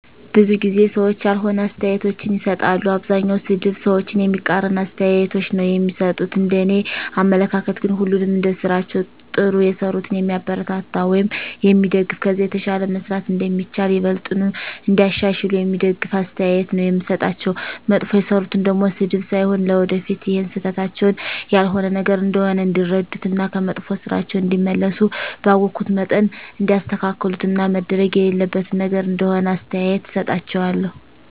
ብዙ ጊዜ ሰዎች ያልሆነ አስተያየቶችን ይሰጣሉ። አብዛኛዉ ሰድብ፣ ሰዎችን የሚቃረን አስተያየቶች ነዉ እሚሰጡት፤ እንደኔ አመለካከት ግን ሁሉንም እንደስራቸዉ ጥሩ የሰሩትን የሚያበረታታ ወይም የሚደገፍ ከዛ የተሻለ መስራት እንደሚቻል፣ ይበልጥኑ እንዲያሻሽሉ የሚደግፍ አስተያየት ነዉ የምሰጣቸዉ፣ መጥፎ የሰሩትን ደሞ ስድብ ሳይሆን ለወደፊት ይሀን ስህተታቸዉን ያልሆነ ነገር እንደሆነ እንዲረዱት እና ከመጥፋ ስራቸዉ እንዲመለሱ ባወኩት መጠን እንዲያስተካክሉት እና መደረግ የሌለበት ነገር እንደሆነ አስተያየት እሰጣቸዋለሁ።